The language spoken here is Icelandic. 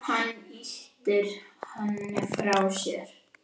Hann ýtir henni frá sér.